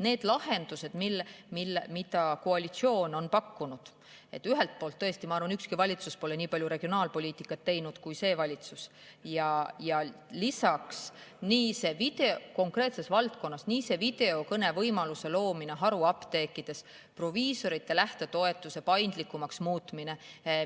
Need lahendused, mida koalitsioon on pakkunud – ma ühelt poolt tõesti arvan, et ükski valitsus pole nii palju regionaalpoliitikat teinud kui see valitsus konkreetses valdkonnas –, nii see videokõnevõimaluse loomine haruapteekides, proviisorite lähtetoetuse paindlikumaks muutmine,